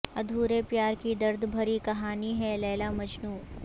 ادھورے پیار کی درد بھری کہانی ہے لیلا مجنو